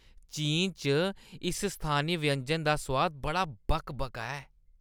चीन च इस स्थानी व्यंजन दा सोआद बड़ा बकबका ऐ।